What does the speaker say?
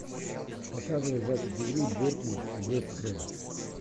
показывай запись игры борнмут и вест хэм